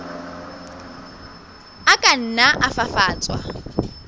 a ka nna a fafatswa